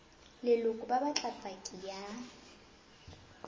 leloko ba batla paki ya